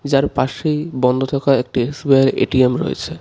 যার পাশেই বন্ধ থাকা একটি এস_বি_আই এ_টি_এম রয়েছে.